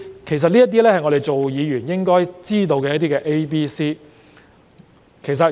其實，這是我們作為議員理應知道的 ABC。